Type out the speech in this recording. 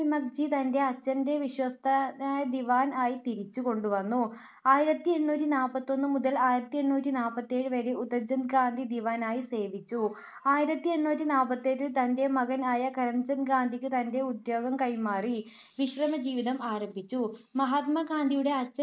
ആയിരത്തി എണ്ണൂറ്റി നാല്പത്തിഒന്ന് മുതൽ ആയിരത്തി എണ്ണൂറ്റി നാല്പത്തി ഏഴു വരെ ഉത്തംച്ചന്ദ് ഗാന്ധി ദിവാൻ ആയി സേവിച്ചു. ആയിരത്തി എണ്ണൂറ്റി നാല്പത്തിഏഴിൽ തന്റെ മകൻ ആയ കരംചന്ദ്‌ ഗാന്ധിയ്ക്ക് തന്റെ ഉദ്യോഗം കൈമാറി വിശ്രമ ജീവിതം ആരംഭിച്ചു. മഹാത്മാ ഗാന്ധിയുടെ അച്ഛൻ